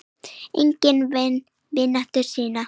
Enginn vann vinnuna sína.